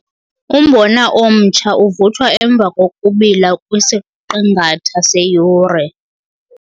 Umbona omtsha uvuthwa emva kokubila kwisiqingatha seyure.